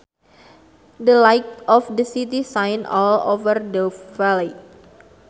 The lights of the city shine all over the valley